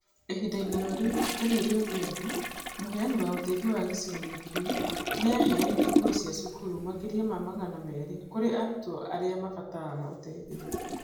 ĩhinda-inĩ o rĩu, Daniel Odhiambo, mũheani wa ũteithio wa gĩcigo-inĩ kĩu, nĩ aheanĩte nguo cia cukuru makĩria ma magana merĩ kũrĩ arutwo arĩa mabataraga ũteithio.